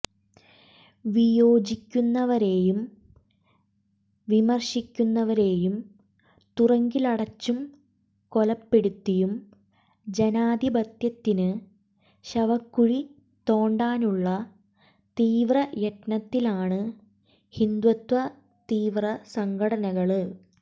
വിയോജിക്കുന്നവരെയും വിമര്ശിക്കുന്നവരെയും തുറങ്കിലടച്ചും കൊലപ്പെടുത്തിയും ജനാധിപത്യത്തിന് ശവക്കുഴി തോണ്ടാനുള്ള തീവ്രയത്നത്തിലാണ് ഹിന്ദുത്വ തീവ്രസംഘടനകള്